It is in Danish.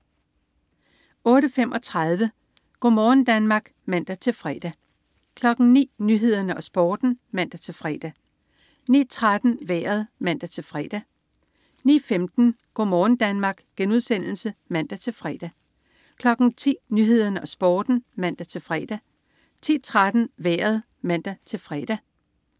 08.35 Go' morgen Danmark (man-fre) 09.00 Nyhederne og Sporten (man-fre) 09.13 Vejret (man-fre) 09.15 Go' morgen Danmark* (man-fre) 10.00 Nyhederne og Sporten (man-fre) 10.13 Vejret (man-fre)